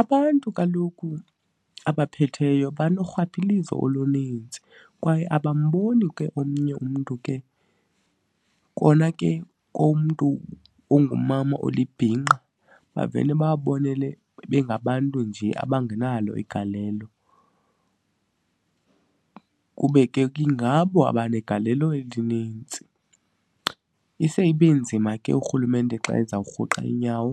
Abantu kaloku abaphetheyo banorhwaphilizo oluninzi kwaye abamboni ke omnye umntu ke, kona ke komntu ongumama olibhinqa bavele babonele bengabantu nje abangenalo igalelo kube ke ingabo abanegalelo elinintsi. Ise ibe nzima ke uRhulumente xa ezawurhuqa iinyawo